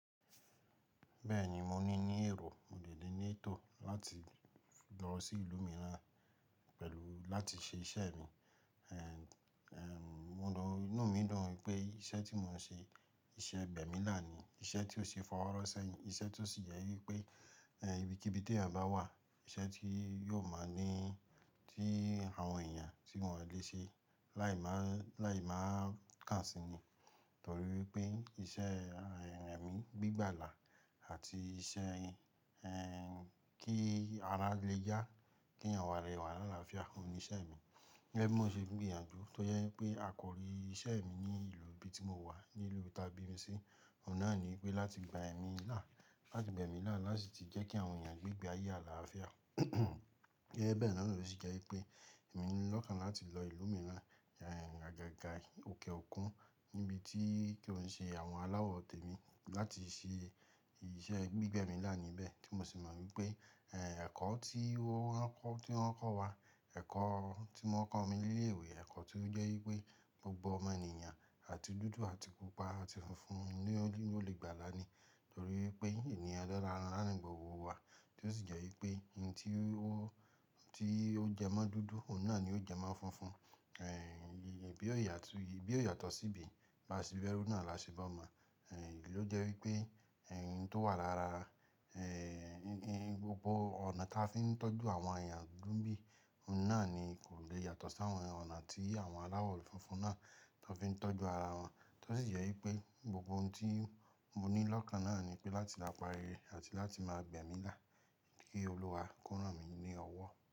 Bẹ́ẹ̀ni, mo ní ìní èrò, mo de lè ní ètò láti lọ sí ìlú mìíràn pẹ̀lú láti ṣe iṣẹ́ mi. Inú mi dùn pé iṣẹ́ tí mò ń ṣe iṣẹ́ gbẹ̀mí là ni, iṣẹ́ tí ó ṣe fọwọ́ rọ sẹ́yìn, iṣẹ́ tó sì jẹ́ wípé ibi kibi ti ẹyan bá wà, iṣẹ́ tí yóò máa ń ní tí àwọn èèyàn tí wọ́n le ṣe láì máà, láì máà kà si ni. Nítorí wípé iṣẹ́ ẹ̀mí gbígbàlà àti iṣẹ́ kí ara le yá, kí àwọn ara lẹ̀ wà ní àlàáfíà, òun ni iṣẹ́ mi. Gẹ́gẹ́ bí mo ṣe ń gbìyànjú tó jẹ́ wípé àkòrí iṣẹ́ mi ní ìlú ibi tí mo wà, ní ìlú ta bí mi sí, òun náà ni wípé láti gba ẹ̀mí là, láti gbẹ̀mí là láti sì jẹ́ kí àwọn èèyàn gbé ìgbé ayé àlàáfíà. Gẹ́gẹ́ bẹ́ẹ̀ náà ló sì jẹ́ wípé èmi ńi lọ́kàn láti lọ ìlú mìíràn, àgàgà òkè òkun níbi tí kí ó ń ṣe àwọn aláwọ̀ tèmi láti ṣe ìṣe gbígbẹ̀mí là níbẹ̀ tí mo sì mọ̀ wípé ẹ̀kọ́ tí wọ́n ń kọ́, tí wọ́n ń kọ́ wa, ẹ̀kọ́ tí wón ń kọ́ mi ní ilé ìwé, ẹ̀kọ́ tí ó jẹ́ wípé gbogbo ọmọ ènìyàn àti dúdú àti pupa àti funfun ni ó lè, ni ó lè gbàlà ni. Nítorí wípé ènìyàn eleran are náà ni gbogbo wa tí ó sì jẹ́ wípé ohun tí ó, tí ó jẹ mọ́ dúdú òun náà ni ó jẹ mọ́ funfun. Ibi o yàtọ̀, ìbí ò yàtọ̀ síbi, bá ṣe bẹ́rù náà la ṣe bọ́ma. Èyí ló jẹ́ wípé ẹ̀ n tó wà lára gbogbo ọ̀nà tí a fi ń tọ́jú àwọn èèyàn dúdú n'bíi, òun náà ni kò lè yàtọ̀ sí àwọn ọ̀nà tí àwọn aláwọ̀ funfun náà tó fi ń tọ́jú ara wọn. Tó sì jẹ́ wípé gbogbo ohun tí mo ní lọ́kàn náà ni wípé láti dapa rere àti láti máa gbẹ̀mí là kí Olúwa kó ràn mí ní ọwọ́.